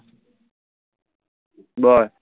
বল